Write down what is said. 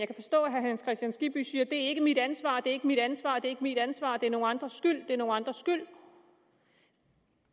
kan forstå at herre hans kristian skibby siger det er ikke mit ansvar det er ikke mit ansvar det er ikke mit ansvar det er nogle andres skyld det er nogle andres skyld